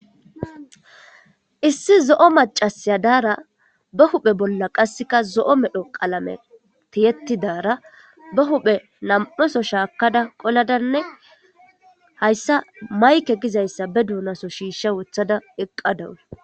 issi zo7o macasiya daara ba huphe bolla qasseka zo7o medho qalame tiyettidaara ba huphe nam7oso shaakada qoladanne hayssa mayke gizayssa be duunaso shiishsha wothada eqqadawus